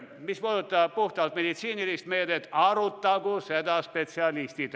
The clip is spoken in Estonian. Mis puudutab puhtalt meditsiinilist meedet, siis seda arutagu spetsialistid.